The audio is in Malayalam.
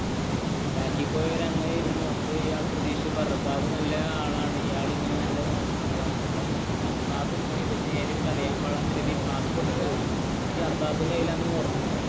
ബാക്കില്‍ പൊയിയാല്‍ അങ്ങനെ ഇരുന്നു അപ്പൊ ഇയാള്‍ അങ്ങനെ നോകുന്നാള്ളന്നു ഈ പാസ്പോര്‍ട്ട് ഓക്കേ ഈ അർബാബ് കൈല്‍ ലാണ്